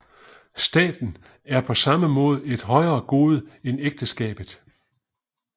Staten er på samme måde et højere gode end ægteskabet